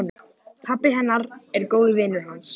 Pabbi hennar er góður vinur hans.